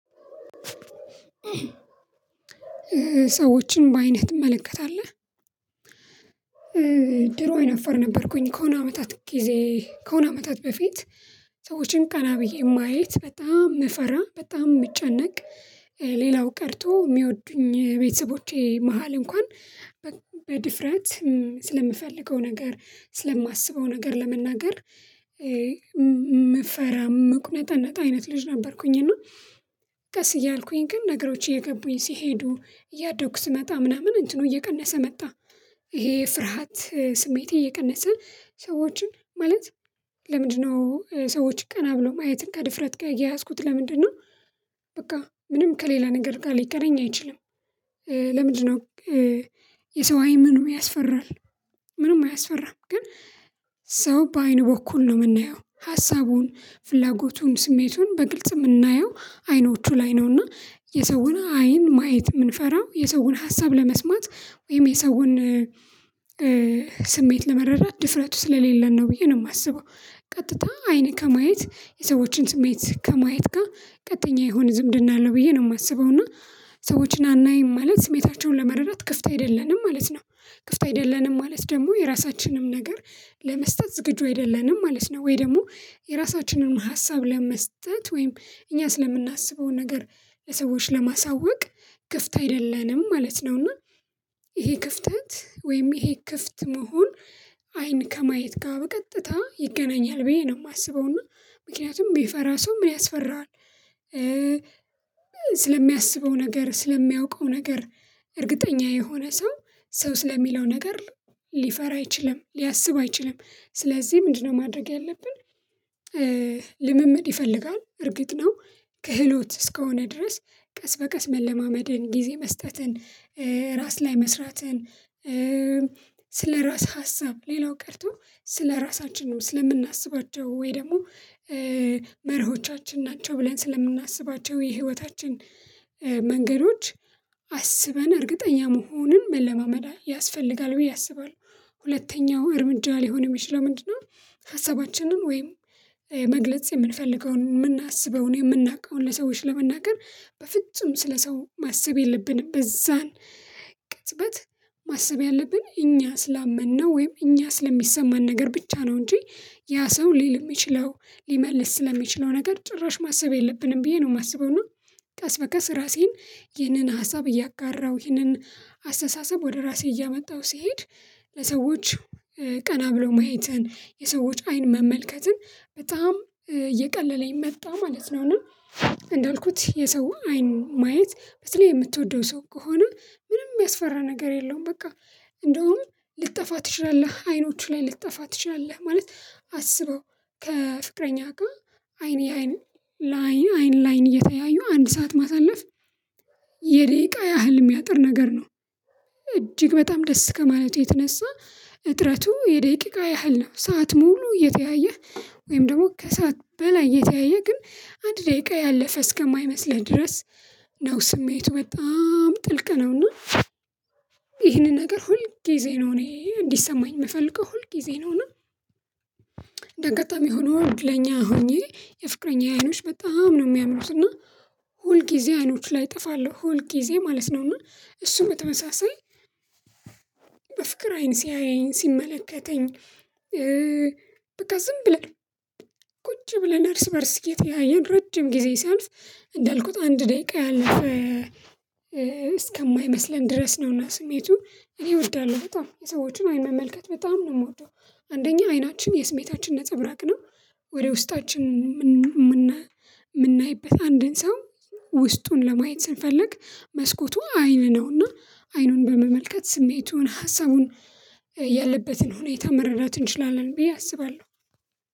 ሰዎችን በአይንህ ትመለከታለህ ድሮ አይነፈር ነበርኩኝ ከሆነ አመታት ጊዜ ከሆነ አመታት በፊት ሰዎችን ቀና ብዬ ማየት በጣም መፈራ በጣም ምጨነቅ። ሌላው ቀርቶ ሚወዱኝ ቤተሰቦቼ መሃል እንኳን በድፍረት ስለምፈልገው ነገር ስለማስበው ነገር ለመናገር። ምፈራም ምቁነጠነጥ አይነት ልጅ ነበርኩኝ እና ቀስ እያልኩኝ ግን ነገሮች እየገቡኝ ሲሄዱ እያደኩ ስመጣ ምናምን እንትኑ እየቀነሰ መጣ። ይሄ ፍርሃት ስሜቴ እየቀነሰ ሰዎችን ማለት ለምንድን ነው ሰዎች ቀና ብለው ማየትን ከድፍረት ጋር ያያዝኩት ለምንድን ነው? በቃ ምንም ከሌላ ነገር ጋር ሊገናኝ አይችልም። ለምንድን ነው? የሰው አይን ምኑ ያስፈራል? ምንም አያስፈራም። ግን ሰው በአይኑ በኩል ነው ምናየው ሀሳቡን ፍላጎቱን ስሜቱን በግልጽ ምናየው አይኖቹ ላይ ነው እና የሰውን አይን ማየት ምንፈራው የሰውን ሀሳብ ለመስማት ወይም የሰውን ስሜት ለመረዳት ድፍረቱ ስለሌለን ነው ብዬ ነው የማስበው። ቀጥታ አይኔ ከማየት የሰዎችን ስሜት ከማየት ጋ ቀጥተኛ የሆነ ዝምድና አለው ብዬ ነው የማስበው። እና ሰዎችን አናይም ማለት ስሜታቸውን ለመረዳት ክፍት አይደለንም ማለት ነው። ክፍት አይደለንም ማለት ደግሞ የራሳችንንም ነገር ለመስጠት ዝግጁ አይደለንም ማለት ነው። ወይ ደግሞ የራሳችንን ሀሳብ ለመስጠት ወይም እኛ ስለምናስበው ነገር ለሰዎች ለማሳወቅ ክፍት አይደለንም ማለት ነው። እና ይሄ ክፍተት ወይም ይሄ ክፍት መሆን አይን ከማየት ጋር በቀጥታ ይገናኛል ብዬ ነው ማስበው። እና ምክንያቱም ሚፈራ ሰው ምን ያስፈራዋል? ስለሚያስበው ነገር ስለሚያውቀው ነገር እርግጠኛ የሆነ ሰው ሰው ስለሚለው ነገር። ሊፈራ አይችልም ሊያስቡ አይችልም ስለዚህ ምንድን ነው ማድረግ ያለብን? ልምምድ ይፈልጋል እርግጥ ነው። ክህሎት እስከሆነ ድረስ ቀስ በቀስ መለማመድን ጊዜ መስጠትን ራስ ላይ መስራትን። ስለራስህ ሀሳብ ሌላው ቀርቶ ስለራሳችን ነው ስለምናስባቸው ወይ ደግሞ መርሆቻችን ናቸው ብለን ስለምናስባቸው የህይወታችን መንገዶች አስበን እርግጠኛ መሆንን መለማመዳ ያስፈልጋል ብዬ አስባለሁ። ሁለተኛው እርምጃ ሊሆን ሚችለው ምንድነው? ሀሳባችንን ወይም መግለጽ የምንፈልገውን ምናስበውን የምናውቀውን ለሰዎች ለመናገር በፍጹም ስለ ሰው ማሰብ የለብንም በዛን ቅጽበት ማሰብ ያለብን እኛ ስላመነው ወይም እኛ ስለሚሰማን ነገር ብቻ ነው እንጂ ያ ሰው ሊል ሚችለው ሊመልስ ስለሚችለው ነገር ጭራሽ ማሰብ የለብንም ብዬ ነው የማስበው። እና ቀስ በቀስ ራሴን ይህንን ሀሳብ እያጋራው ይህንን አስተሳሰብ ወደ ራሴ እያመጣሁ ሲሄድ ለሰዎች ቀና ብሎ ማየትን የሰዎች አይን መመልከትን በጣም እየቀለለኝ መጣ ማለት ነው። እና እንዳልኩት የሰው አይን ማየት በተለይ የምትወደው ሰው ከሆነ ምንም ሚያስፈራ ነገር የለውም። በቃ እንደውም ልጠፋ ትችላለህ አይኖቹ ላይ ልጠፋ ትችላለህ ማለት አስበው ከፍቅረኛ ጋ አይኔ አይን ላይን አይን ላይን እየተያዩ አንድ ሰዓት ማሳለፍ የደቂቃ ያህል ሚያጥር ነገር ነው። እጅግ በጣም ደስ ከማለቴ የተነሳ እጥረቱ የደቂቃ ያህል ነው ሰዓት ሙሉ እየተያየህ ወይም ደግሞ ከሰአት በላይ እየተያየህ ግን አንድ ደቂቃ ያለፈ እስከማይመስለኝ ድረስ። ነው ስሜቱ በጣም ጥልቅ ነው። እና ይህንን ነገር ሁል ጊዜ ነው እኔ እንዲሰማኝ ምፈልገው ሁል ጊዜ ነው እና። እንደ አጋጣሚ ሆኖ እድለኛ ሆኜ የፍቅረኛ አይኖች በጣም ነው ሚያምሩት እና ሁልጊዜ አይኖች ላይ እጥፋለሁ ሁልጊዜ ማለት ነው። እና እሱም በተመሳሳይ በፍቅር አይን ሲያየኝ ሲመለከተኝ በቃ ዝም ብለን ቁጭ ብለን እርስ በእርስ እየተያየን ረጅም ጊዜ ሲያልፍ። እንዳልኩት አንድ ደቂቃ ያለፍ እስከማይመስለን ድረስ ነው እና ስሜቱ እኔ እወዳለሁ በጣም የሰዎችን አይን መመልከት በጣም ነው ምወደው። አንደኛ አይናችን የስሜታችን ነፃብራቅ ነው። ወደ ውስጣችን ምናይበት አንድን ሰው ውስጡን ለማየት ስንፈልግ መስኮቱ አይን ነው እና አይኑን በመመልከት ስሜቱን ሀሳቡን ያለበትን ሁኔታ መረዳት እንችላለን ብዬ አስባለሁ።